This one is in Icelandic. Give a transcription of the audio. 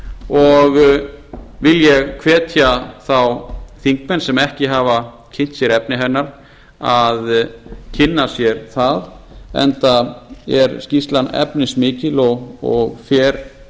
og vil ég hvetja þá þingmenn sem ekki hafa kynnt sér efni hennar að kynna sér það enda er skýrslan efnismikil og fer